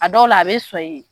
A dɔw la a bɛ sɔn i ye